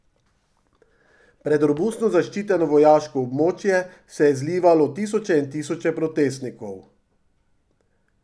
Pred robustno zaščiteno vojaško območje se je zlivalo tisoče in tisoče protestnikov.